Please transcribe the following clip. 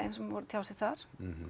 sem voru að tjá sig þar